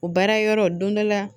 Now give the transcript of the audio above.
O baara yɔrɔ don dɔ la